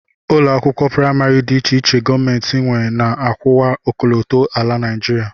Ụlọakwụkwọ praịmarị dị iche iche gọọmenti nwe na-akwụwa ọkọlọtọ ala Naịjirịa